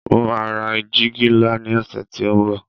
mo ma ra jìgì nla ni ọsẹ ti o nbo